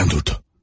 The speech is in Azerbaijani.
Birdən durdu.